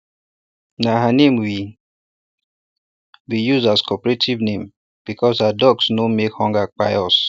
na her name we we use as cooperative name bcuz her ducks no make hunger kpai us